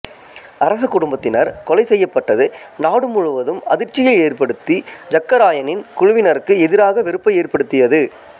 அரச குடும்பத்தினர் கொலை செய்யப்பட்டது நாடு முழுவதும் அதிர்ச்சியை ஏற்படுத்தி ஜக்க ராயனின் குழுவினருக்கு எதிராக வெறுப்பை ஏற்படுத்தியது